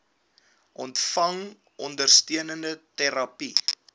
ontvang ondersteunende terapie